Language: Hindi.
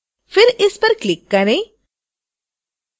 फिर इस पर click करें